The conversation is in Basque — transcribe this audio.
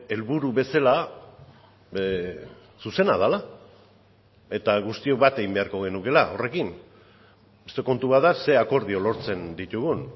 helburu bezala zuzena dela eta guztiok bat egin beharko genukeela horrekin beste kontu bat da ze akordio lortzen ditugun